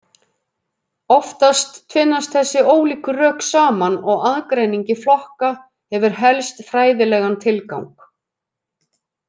Oftast tvinnast þessi ólíku rök saman og aðgreining í flokka hefur helst fræðilegan tilgang.